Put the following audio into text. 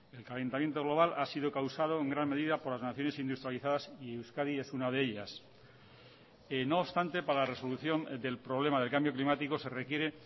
el calentamiento global ha sido causado en gran medida por las naciones industrializadas y euskadi es una de ellas no obstante para la resolución del problema del cambio climático se requiere